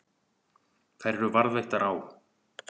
Þær eru varðveittar á